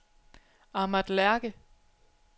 Ahmad Lerche